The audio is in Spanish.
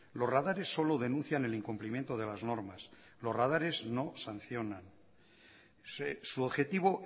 los radares solo denuncian el incumplimiento de las normas los radares no sancionan su objetivo